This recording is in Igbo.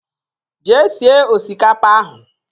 Jee sie osikapa ahụ!